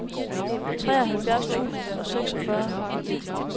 treoghalvfjerds tusind og seksogfyrre